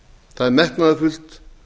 það er metnaðarfullt